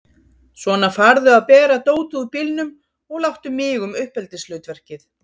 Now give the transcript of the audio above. Svona, farðu að bera dótið úr bílnum og láttu mig um uppeldishlutverkið!